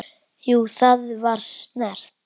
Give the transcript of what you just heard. Jú, það var snert